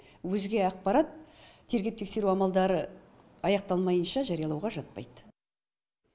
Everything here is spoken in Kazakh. өзге ақпарат тергеп тексеру амалдары аяқталмайынша жариялауға жатпайды